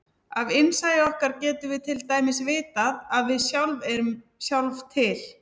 Af innsæi okkar getum við til dæmis vitað að við sjálf erum sjálf til.